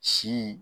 Si